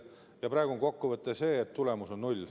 Ja praegu on kokkuvõte selline, et tulemus on null.